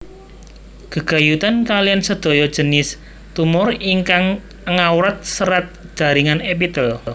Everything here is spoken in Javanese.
Gegayutan kaliyan sedaya jinis tumor ingkang ngawrat serat jaringan epitel